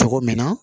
Cogo min na